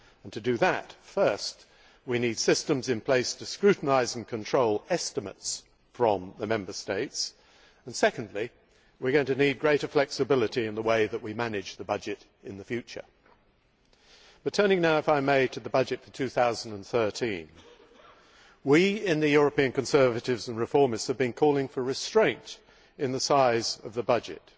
To do that, first we need systems in place to scrutinise and control estimates from the Member States and, secondly, we are going to need greater flexibility in the way that we manage the budget in the future. But turning now, if I may, to the budget for 2013, we in the European Conservatives and Reformists have been calling for restraint in the size of the budget.